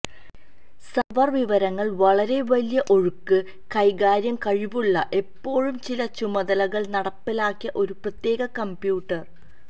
server വിവരങ്ങൾ വളരെ വലിയ ഒഴുക്ക് കൈകാര്യം കഴിവുള്ള എപ്പോഴും ചില ചുമതലകൾ നടപ്പിലാക്കിയ ഒരു പ്രത്യേക കമ്പ്യൂട്ടർ